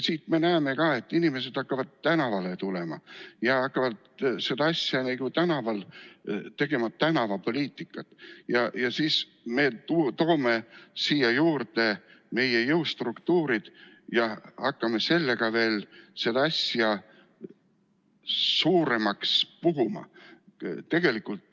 Siit me näeme ka, et inimesed hakkavad tänavale tulema ja hakkavad tegema tänavapoliitikat ja siis me toome siia juurde meie jõustruktuurid ja hakkame sellega veel asja suuremaks puhuma.